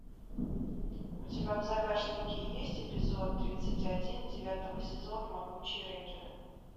у тебя в загашнике есть эпизод тридцать один девятого сезона могучие рейнджеры